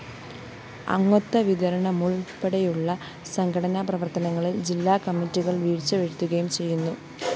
അംഗത്വവിതരണമുള്‍പ്പെടെയുള്ള സംഘടനാ പ്രവര്‍ത്തനങ്ങളില്‍ ജില്ലാകമ്മിറ്റികള്‍ വീഴ്ച വരുത്തുകയും ചെയ്യുന്നു